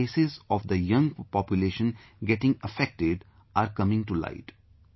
But cases of the young population getting affected are coming to light